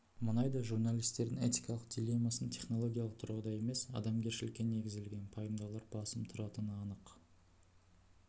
мұнайда журналистердің этикалық диллемасын технологиялық тұрғыда емес адамгершілікке негізделген пайымдаулар басым тұратыны анық